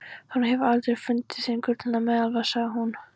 Hún hefur aldrei fundið hinn gullna meðalveg, sagði hún.